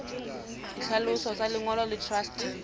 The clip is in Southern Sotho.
ditlhaloso tsa lengolo la truste